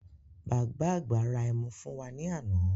Bàbá àgbà ra ẹmu fún wá ní àna